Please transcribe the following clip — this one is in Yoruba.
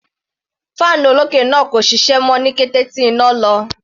Fan olókè náà kò ṣiṣẹ́ mọ́ ní kété tí iná lọ.